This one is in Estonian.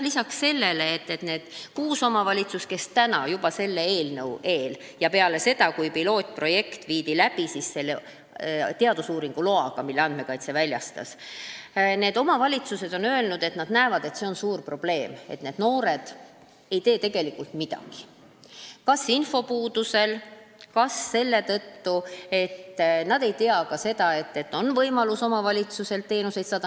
Lisaks sellele ütlesid need kuus omavalitsust juba enne seda eelnõu ja peale seda, kui viidi läbi katseprojekt teadusuuringu loaga, mille väljastas Andmekaitse Inspektsioon, et nad näevad suurt probleemi selles, et need noored ei tee tegelikult midagi – ka infopuuduse tõttu, sh sellepärast, et nad ei tea võimalusest saada omavalitsuselt teenuseid.